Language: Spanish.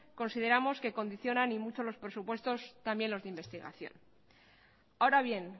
consideramos que condicionan y mucho los presupuestos también los de investigación ahora bien